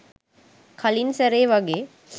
කලින් සැරේ වගේ